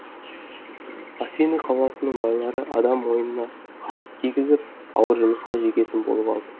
афины қаласының байлары адам мойнына қамыт кигізіп ауыр жұмысқа жегетін болып алды